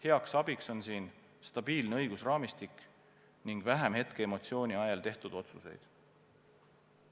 Heaks abiks on siin stabiilne õigusraamistik ning vähem hetkeemotsiooni ajel tehtud otsuseid.